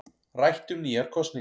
Rætt um nýjar kosningar